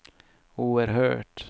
oerhört